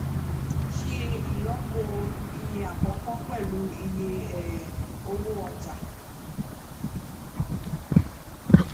ṣe ìlọpo iye àkọkọ pẹlú iye um owó ọjà